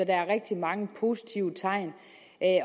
er rigtig mange positive tegn